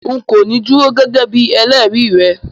N̄ kò ní dúró gẹ́gẹ́ bíi ẹlẹ́rìí rẹ